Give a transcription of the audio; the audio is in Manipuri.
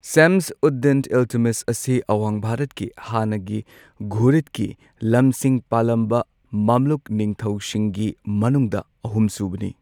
ꯁꯥꯝꯁ ꯎꯗ ꯗꯤꯟ ꯏꯜꯇꯠꯃꯤꯁ ꯑꯁꯤ ꯑꯋꯥꯡ ꯚꯥꯔꯠꯀꯤ ꯍꯥꯟꯅꯒꯤ ꯘꯨꯔꯤꯗꯀꯤ ꯂꯝꯁꯤꯡ ꯄꯥꯜꯂꯝꯕ ꯃꯥꯝꯂꯨꯛ ꯅꯤꯡꯊꯧꯁꯤꯡꯒꯤ ꯃꯅꯨꯡꯗ ꯑꯍꯨꯝ ꯁꯨꯕꯅꯤ꯫